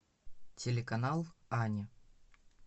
телеканал ани